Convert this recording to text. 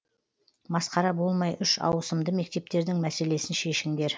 масқара болмай үш ауысымды мектептердің мәселесін шешіңдер